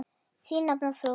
Þín nafna, Þrúður.